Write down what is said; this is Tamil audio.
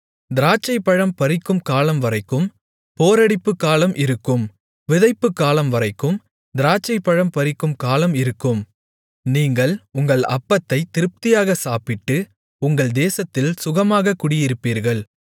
திராட்சைப்பழம் பறிக்கும் காலம்வரைக்கும் போரடிப்புக் காலம் இருக்கும் விதைப்புக் காலம்வரைக்கும் திராட்சைப்பழம் பறிக்கும் காலம் இருக்கும் நீங்கள் உங்கள் அப்பத்தைத் திருப்தியாகச் சாப்பிட்டு உங்கள் தேசத்தில் சுகமாகக் குடியிருப்பீர்கள்